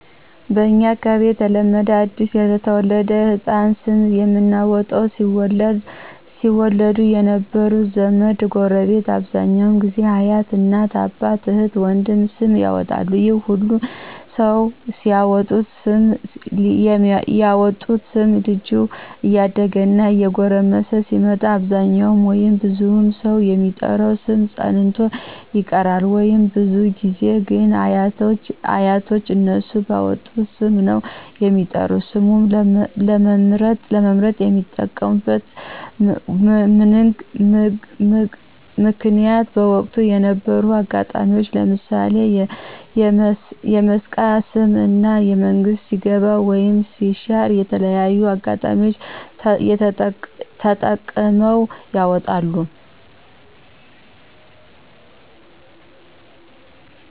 በእንኛ አካባቢ የተለመደ አዲስ ለተወለደ ሕፃን ስም የምናወጣው ሲወለድ የነበሩ ዘመድ፣ ጎረቤት አብዛኛው ጊዜ አያት፣ እናት፣ አባት፣ እህት፣ ወንድም ስም ያወጣሉ ይህ ሁሉ ሰው ያወጡት ስም ልጆች እያደጉ እና እየጎረመሱ ሲመጡ አብዛኛው ወይም ብዙ ሰው የሚጠራው ስም ፀንቶ ይቀራል ወይም። ብዙ ጊዜ ግን አያቶች እነሱ ባወጡት ስም ነው የሚጠሩት። ስሙን ለመምርጥ የሚጠቀሙብት ምንግ በወቅቱ የነበሩ አጋጣሚዎች ለምሣሌ የመስቃ ስም እና መንግስት ሲገባ ወይም ሲሻር የተለያዩ አጋጣሚዎች ተጠቅመው ያወጣሉ።